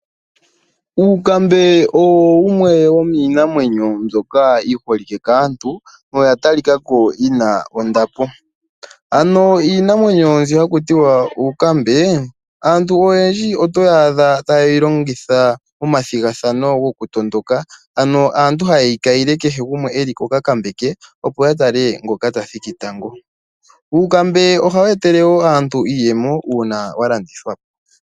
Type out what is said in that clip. Uukambe owumwe womiinamwebyo mbyoka yi holike kaantu, noya tali kako yina ondapo. Ano iinamwenyo mbi haku tiwa uukambe aantu oyendji oto yaadha ta yeyi longitha momathigathano goku tondoka, ano haye yi ka yile kehe gumwe eli kokakambe ke, opo ya tale ngoka ta thiki tango. Uukambe ohawu etele wo aantu iiyemo uuna wa landithwa po.